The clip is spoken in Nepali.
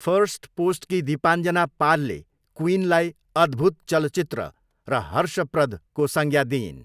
फर्स्टपोस्टकी दीपाञ्जना पालले क्वीइनलाई 'अद्भुत चलचित्र' र 'हर्षप्रद'को संज्ञा दिइन्।